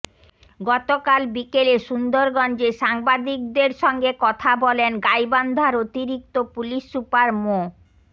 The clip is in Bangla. গতকাল বিকেলে সুন্দরগঞ্জে সাংবাদিকদের সঙ্গে কথা বলেন গাইবান্ধার অতিরিক্ত পুলিশ সুপার মো